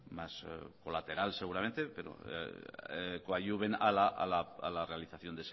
más colateral seguramente pero coadyuven a la realización